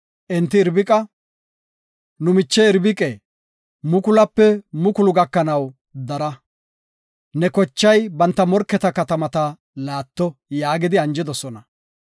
Enti Irbiqa, “Nu miche Irbiqe, mukulupe mukulu gakanaw dara; ne kochay banta morketa katamata laatto” yaagidi anjidosona.